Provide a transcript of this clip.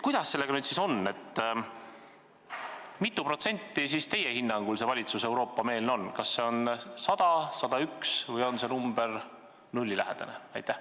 Kuidas sellega nüüd siis on, kui mitu protsenti teie hinnangul see valitsus Euroopa-meelne on, kas 100%, 101% või on see protsent nullilähedane?